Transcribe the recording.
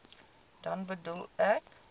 dan bedoel ek